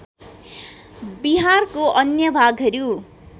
बिहारको अन्य भागहरू